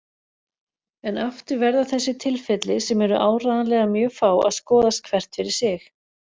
En aftur verða þessi tilfelli, sem eru áreiðanlega mjög fá, að skoðast hvert fyrir sig.